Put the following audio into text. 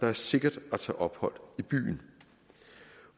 er sikkert at tage ophold i byen